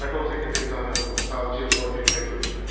Qarakol katibi Zamyatov, savcı Porfiri Petroviç filan.